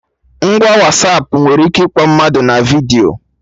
Ngwa Wasapụ nwere ike ịkpọ mmadụ na vidiyo